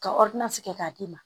Ka kɛ k'a d'i ma